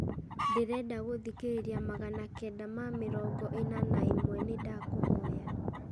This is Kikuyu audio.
ndĩrenda gũthikĩrĩria magana kenda ma mĩrongo ĩna na ĩmwe nĩ ndakũhoya